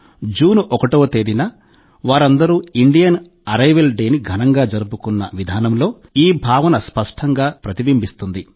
June 1వ తేదీన వారందరూ ఇండియన్ అరైవల్ డేని ఘనంగా జరుపుకున్న విధానంలో ఈ భావన స్పష్టంగా ప్రతిబింబిస్తుంది